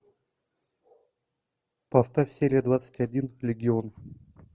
поставь серия двадцать один легион